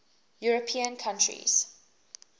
european countries